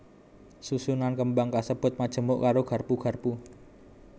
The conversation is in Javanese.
Susunan kembang kasebut majemuk karo garpu garpu